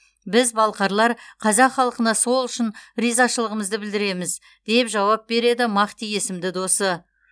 біз балқарлар қазақ халқына сол үшін ризашылығымызды білдіреміз деп жауап береді махти есімді досы